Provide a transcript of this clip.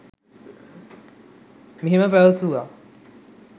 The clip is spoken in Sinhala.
මෙහෙම පැවසුවා.